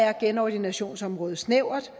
er genordinationsområdet snævert